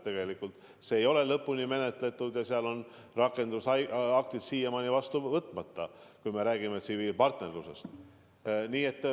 Tegelikult see teema ei ole lõpuni menetletud ja rakendusaktid on siiamaani vastu võtmata, kui me räägime tsiviilpartnerlusest.